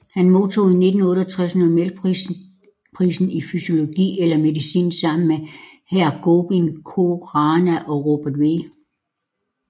Han modtog i 1968 Nobelprisen i fysiologi eller medicin sammen med Har Gobind Khorana og Robert W